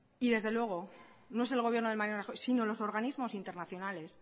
y desde luego no es el gobierno de mariano rajoy sino los organismos internacionales